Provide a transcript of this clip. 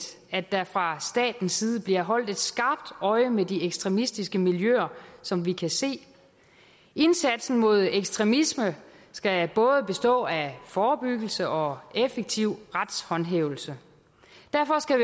at der fra statens side bliver holdt et skarpt øje med de ekstremistiske miljøer som vi kan se indsatsen mod ekstremisme skal både bestå af forebyggelse og effektiv retshåndhævelse derfor skal